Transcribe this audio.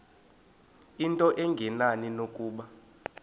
into engenani nokuba